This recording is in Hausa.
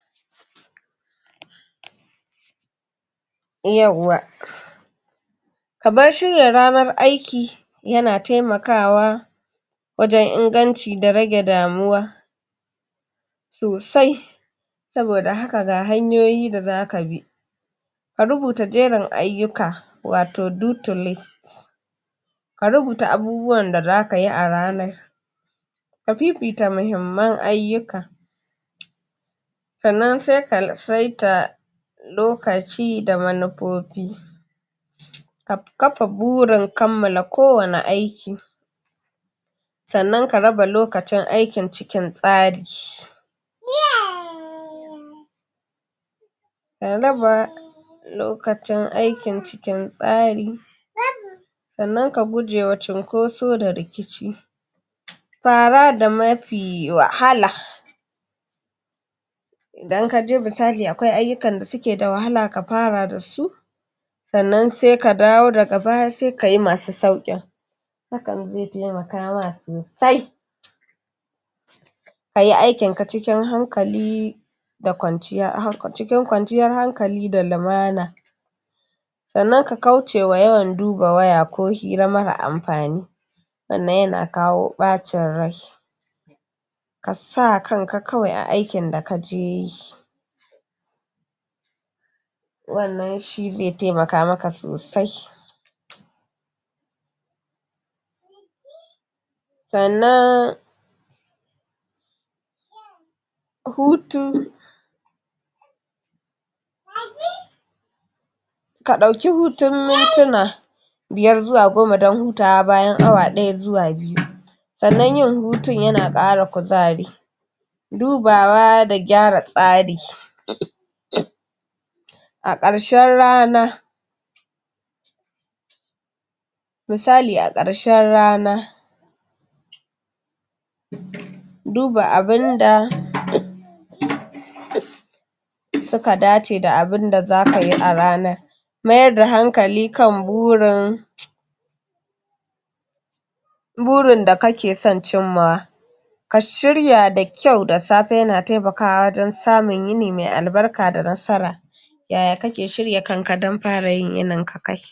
yauwa kabar shirya ranan aiki yana temakawa wajen inganci da rage damuwa sosai saboda haka ga hanyoyi da zaka bi ka rubuta jerin ayyuka wato duty list ka rubuta abubuwan da zaka yi a rana ka fifita muhimman ayyuka sannan se ka seta lokaci da manufofi kafa burin kammala ko wane aiki sannan ka raba lokacin aikin cikin tsari lokacin aikin cikin tsari sannan ka gujewa cunkoso da rikici fara da mafi wahala idan kaji misali akwai ayyukan da suke da wahala ka fara da su sannan se ka dawo daga baya se kayi masu sauƙin hakan ze temaka ma sosai kayi aikin ka cikin hankali da kwanciya cikin kwanciyar hankali da lumana sannan ka kaucewa yawan duba waya ko hira marar amfani wanda yana kawo ɓacin rai ka sa kanka kawai a aikin da kaje yi wannan shi ze temaka maka sosai sannan hutu ka ɗauki hutun mintuna biyar zuwa goma dan hutawa bayan awa ɗaya zuwa biyu sannan yin hutun yana ƙara kuzari dubawa da gyara tsari a ƙarshen rana misali a ƙarshen rana duba abunda suka dace da abunda zaka yi a ranar mayar da hankali kan burin burin da kake son cimmawa ka shirya da kyau da safe yana temakawa wajen samun yini me albarka da nasara ya ya kake shirya kanka dan fara yin yininka kai